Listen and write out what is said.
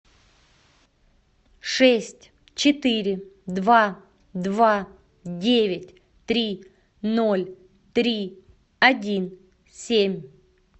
шесть четыре два два девять три ноль три один семь